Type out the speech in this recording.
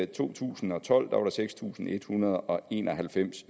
to tusind og tolv var der seks tusind en hundrede og en og halvfems